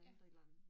Ja